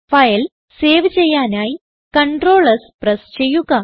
file save ചെയ്യാനായി Ctrl S press ചെയ്യുക